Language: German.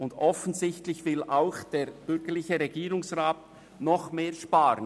Ebenso offensichtlich will auch der bürgerliche Regierungsrat mehr sparen.